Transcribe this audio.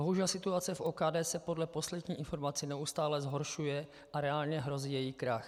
Bohužel situace v OKD se podle poslední informace neustále zhoršuje a reálně hrozí její krach.